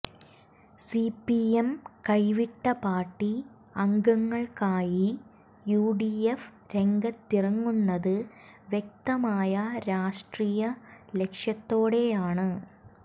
CPM കൈവിട്ട പാർട്ടി അംഗങ്ങൾക്കായി യുഡിഎഫ് രംഗത്തിറങ്ങുന്നത് വ്യക്തമായ രാഷ്ട്രീയ ലക്ഷ്യത്തോടെയാണ്